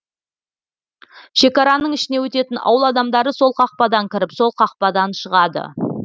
шекараның ішіне өтетін ауыл адамдары сол қақпадан кіріп сол қақпадан шығады